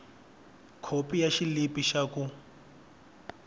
khopi ya xilipi xa ku